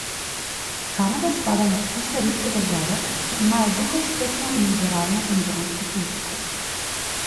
Kanada spada med tiste redke države, ki imajo dokaj strpno in liberalno imigrantsko politiko.